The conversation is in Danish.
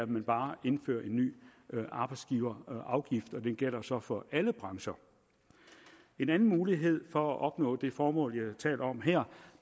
man bare indfører en ny arbejdsgiverafgift og den gælder så for alle brancher en anden mulighed for at opnå det formål vi taler om her